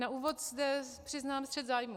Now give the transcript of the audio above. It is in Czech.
Na úvod zde přiznám střet zájmů.